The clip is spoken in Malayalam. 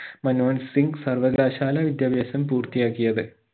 മൻമോഹൻ സിംഗ് സർവകലാശാല വിദ്യാഭാസം പൂർത്തിയാക്കിയത്